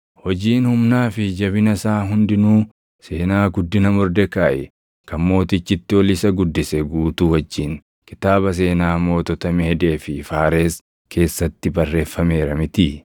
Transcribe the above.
Hojiin humnaa fi jabina isaa hundinuu, seenaa guddina Mordekaayi kan mootichi itti ol isa guddise guutuu wajjin kitaaba seenaa mootota Meedee fi Faares keessatti barreeffameera mitii?